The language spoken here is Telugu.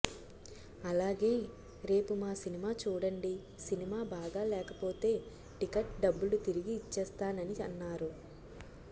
అలాగే రేపు మా సినిమా చూడండి సినిమా బాగా లేకపోతే టికెట్ డబ్బులు తిరిగి ఇచ్చేస్తానని అన్నారు